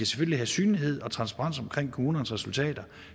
skal have synlighed og transparens omkring kommunernes resultater